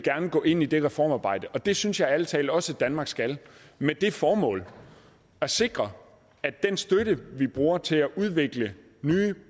gå ind i det reformarbejde og det synes jeg ærlig talt også at danmark skal med det formål at sikre at den støtte vi bruger til at udvikle nye og